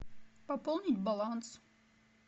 пополнить баланс